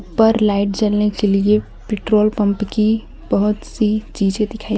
पर लाइट जलने के लिए पेट्रोल पंप की बहोत सी चीजे दिखाई--